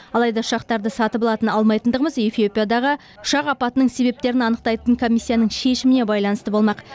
алайда ұшақтарды сатып алатын алмайтындығымыз эфиопиядағы ұшақ апатының себептерін анықтайтын комиссияның шешіміне байланысты болмақ